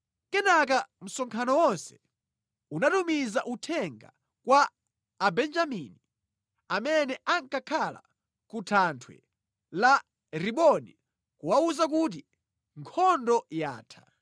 Kenaka msonkhano wonse unatumiza uthenga kwa Abenjamini amene ankakhala ku thanthwe la Rimoni kuwawuza kuti nkhondo yatha.